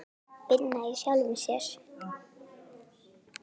Vinna í sjálfum sér.